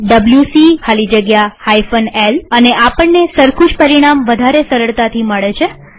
WC ખાલી જગ્યા l અને આપણને સરખું જ પરિણામ વધારે સરળતાથી મળે છે